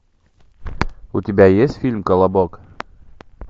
у тебя есть фильм колобок